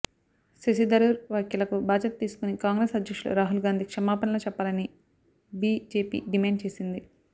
శశి థరూర్ వ్యాఖ్యలకు బాధ్యత తీసుకుని కాంగ్రెస్ అధ్యక్షులు రాహుల్ గాంధీ క్షమాపణలు చెప్పాలని బిజెపి డిమాండ్ చేసింది